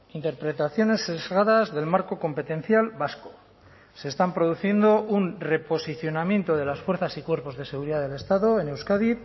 interpretaciones sesgadas del marco competencial vasco se están produciendo un reposicionamiento de las fuerzas y cuerpos de seguridad del estado en euskadi